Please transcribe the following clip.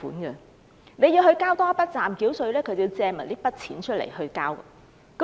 所以，要他們繳交暫繳稅，他們便要借更多錢來繳付。